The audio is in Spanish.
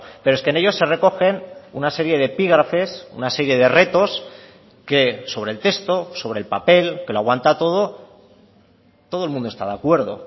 pero es que en ellos se recogen una serie de epígrafes una serie de retos que sobre el texto sobre el papel que lo aguanta todo todo el mundo está de acuerdo